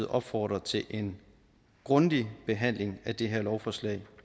opfordre til en grundig behandling af det her lovforslag